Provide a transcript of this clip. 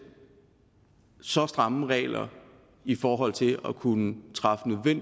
så stramme regler i forhold til at kunne træffe